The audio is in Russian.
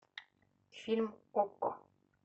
фильм окко